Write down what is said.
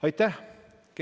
Aitäh!